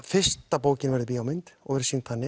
fyrsta bókin verður bíómynd og sýnd þannig